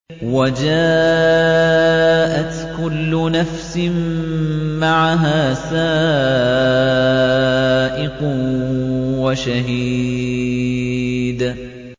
وَجَاءَتْ كُلُّ نَفْسٍ مَّعَهَا سَائِقٌ وَشَهِيدٌ